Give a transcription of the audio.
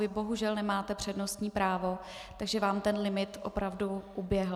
Vy bohužel nemáte přednostní právo, takže vám ten limit opravdu uběhl.